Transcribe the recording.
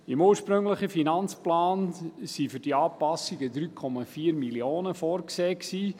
Im ursprünglichen Finanzplan waren für die Anpassungen 3,4 Mio. Franken vorgesehen.